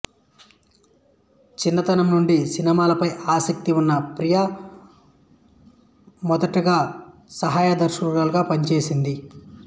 చిన్నతనం నుండి సినిమాలపై ఆసక్తి ఉన్న ప్రియా మొదటగా సహాయ దర్శకురాలుగా పనిచేసింది